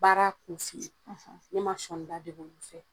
Baara kun f'i ye ne ma sɔɔnida dege olu fɛ.